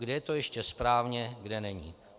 Kde je to ještě správně, kde není.